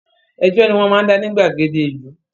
Ẹjọ́ ni wọ́n máa ń dá ní gbàgede ìlú